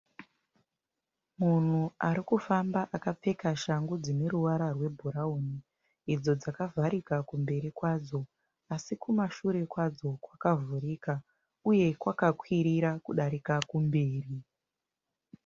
Munhu ari kufamba akapfeka shangu dzine ruvara rwebhurauni idzo dzakavharika kumberi kwadzo asi kumashure kwadzo kwakavhurika uye kwakakwirira kudarika kumberi.